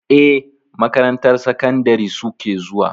Eh, makarantar sakandari suke zuwa.